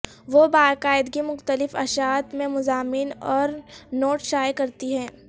وہ باقاعدگی مختلف اشاعت میں مضامین اور نوٹ شائع کرتی ہے